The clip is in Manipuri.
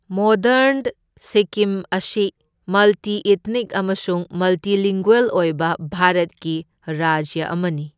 ꯃꯣꯗꯔꯟ ꯁꯤꯛꯀꯤꯝ ꯑꯁꯤ ꯃꯜꯇꯤ ꯏꯊꯅꯤꯛ ꯑꯃꯁꯨꯡ ꯃꯜꯇꯤꯂꯤꯡꯒꯨꯌꯦꯜ ꯑꯣꯏꯕ ꯚꯥꯔꯠꯀꯤ ꯔꯥꯖ꯭ꯌ ꯑꯃꯅꯤ꯫